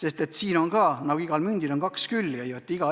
Eks siin on nagu igal mündil kaks külge.